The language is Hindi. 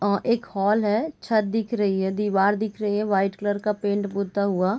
अ एक हॉल है छत दिख रही है दीवार दिख रही है व्हाइट कलर का पेंट पोता हुआ ।